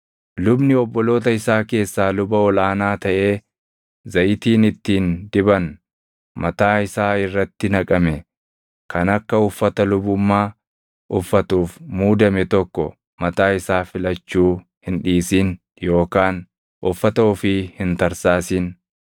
“ ‘Lubni obboloota isaa keessaa luba ol aanaa taʼee zayitiin ittiin diban mataa isaa irratti naqame kan akka uffata lubummaa uffatuuf muudame tokko mataa isaa filachuu hin dhiisin yookaan uffata ofii hin tarsaasin.